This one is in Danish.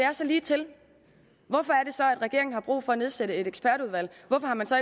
og så ligetil hvorfor er det så at regeringen har brug for at nedsætte et ekspertudvalg hvorfor har man så